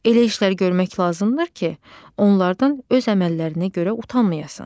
Elə işlər görmək lazımdır ki, onlardan öz əməllərinə görə utanmayasan.